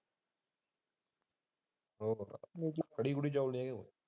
ਕੜੀ ਕੁੜੀ ਚਾਲ ਦੀਆ ਗਏ ਹਾਜੀ।